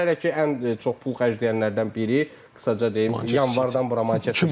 Hələ ki ən çox pul xərcləyənlərdən biri qısaca deyim, yanvardan bura marketdə.